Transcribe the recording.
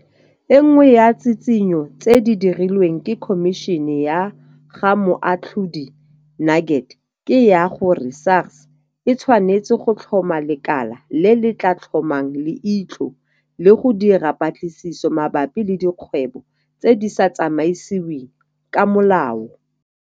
E nngwe ya ditshitshinyo tse di dirilweng ke Khomišene ya ga Moatlhodi Nuget ke ya gore SARS e tshwanetse go tlhoma lekala le le tla tlhomang leitlho le go dira dipatlisiso mabapi le dikgwebo tse di sa tsamaisiweng ka molao.